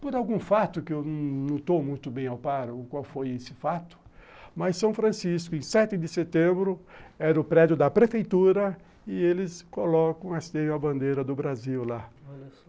Por algum fato que eu não estou muito bem ao par, qual foi esse fato, mas São Francisco em sete de setembro era o prédio da prefeitura e eles colocam, hasteiam a bandeira do Brasil lá. Olha só